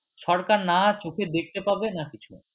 সরকার না চোখে দেখতে পাবে না কিছু